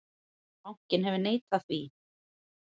Bankinn hefur neitað því.